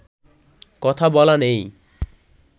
কথা বলা নেই